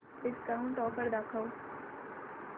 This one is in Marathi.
डिस्काऊंट ऑफर दाखव